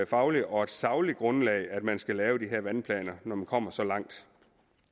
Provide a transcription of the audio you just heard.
fagligt og sagligt grundlag man skal lave de her vandplaner når man kommer så langt